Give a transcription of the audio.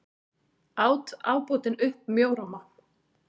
át ábótinn upp mjóróma.